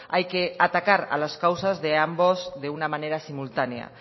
hay que atacar a las causas de ambos de una manera simultánea